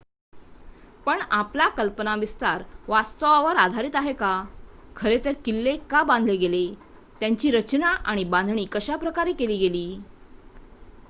पण आपला कल्पनाविस्तार वास्तवावर आधारित आहे का खरे तर किल्ले का बांधले गेले त्यांची रचना आणि बांधणी कशा प्रकारे केली गेली